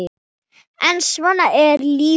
En svona er lífið.